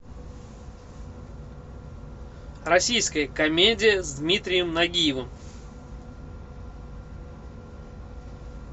российская комедия с дмитрием нагиевым